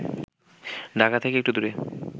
ঢাকা থেকে একটু দূরে